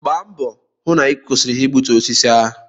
Gba mbọ hụ na ị kwụsịrị ha igbutu osisi ahụ!